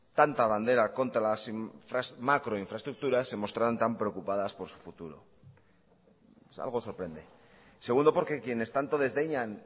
tanta bandera contra las macroinfraestructuras se mostraran tan preocupadas por su futuro algo sorprende segundo porque quienes tanto desdeñan